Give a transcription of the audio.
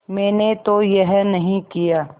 मैंने तो यह नहीं किया